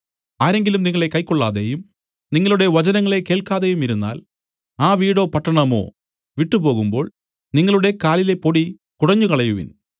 ആരെങ്കിലും നിങ്ങളെ കൈക്കൊള്ളാതെയും നിങ്ങളുടെ വചനങ്ങളെ കേൾക്കാതെയുമിരുന്നാൽ ആ വീടോ പട്ടണമോ വിട്ടു പോകുമ്പോൾ നിങ്ങളുടെ കാലിലെ പൊടി കുടഞ്ഞുകളയുവിൻ